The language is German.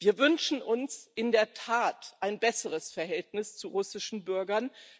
Wir wünschen uns in der Tat ein besseres Verhältnis zu russischen Bürgern.